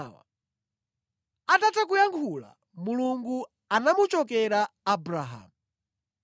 Atatha kuyankhula, Mulungu anamuchokera Abrahamu.